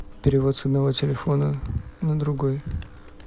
перевод с одного телефона на другой